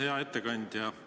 Hea ettekandja!